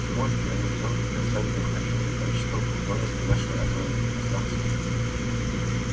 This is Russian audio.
сможет ли анакреон предоставить необходимое количество плутония для нашей атомной электростанции